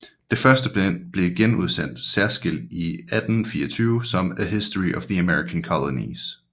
Det første bind blev genudsendt særskilt i 1824 som A History of the American Colonies